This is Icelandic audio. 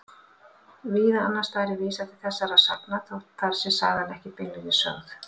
Víða annars staðar er vísað til þessara sagna þótt þar sé sagan ekki beinlínis sögð.